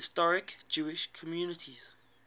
historic jewish communities